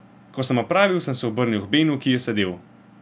Ko sem opravil, sem se obrnil k Benu, ki je sedel.